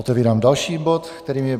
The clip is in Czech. Otevírám další bod, kterým je